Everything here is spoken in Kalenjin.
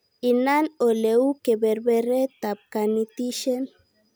Inan oleu keberbertaab kanetishet